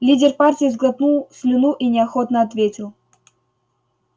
лидер партии сглотнул слюну и неохотно ответил